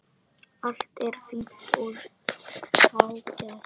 Allt er fínt og fágað.